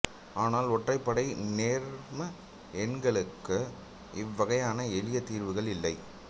ஆனால் ஒற்றைப் படை நேர்ம எண்களுக்கு இவ்வகையான எளிய தீர்வுகள் இல்லை